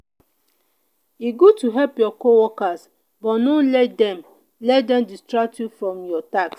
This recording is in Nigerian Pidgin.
e good to help your co-worker but no let dem let dem distract you from your task.